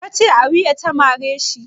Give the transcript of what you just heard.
Ka ce a wuya ta mare shi?